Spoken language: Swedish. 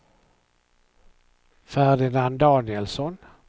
Ferdinand Danielsson